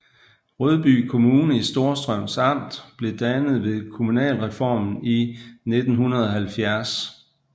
Rødby Kommune i Storstrøms Amt blev dannet ved kommunalreformen i 1970